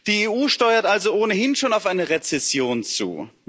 Die EU steuert also ohnehin schon auf eine Rezession zu.